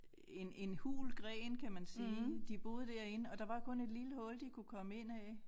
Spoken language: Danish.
En en hul gren kan man sige de boede derinde og der var kun et lille hul de kunne komme ind ad